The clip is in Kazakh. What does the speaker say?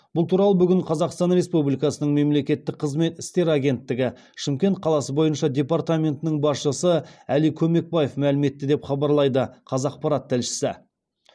бұл туралы бүгін қазақстан республикасының мемлекеттік қызмет істері агенттігі шымкент қаласы бойынша департаментінің басшысы әли көмекбаев мәлім етті деп хабарлайды қазақпарат тілшісі